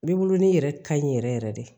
Beburunin yɛrɛ kaɲi yɛrɛ yɛrɛ de